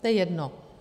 To je jedno.